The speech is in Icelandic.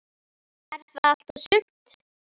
Er það allt og sumt?